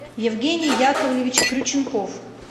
евгений яковлевич крюченков